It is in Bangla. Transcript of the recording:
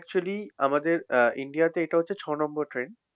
actually আমাদের আহ ইন্ডিয়াতে এটা হচ্ছে ছয় নম্বর train